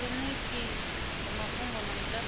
kiliniki dza mafhungo na mutakalo